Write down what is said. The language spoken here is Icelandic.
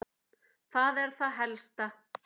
Það er það helsta.